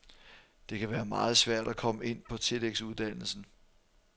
Det kan være meget svært at komme ind på tillægsuddannelsen.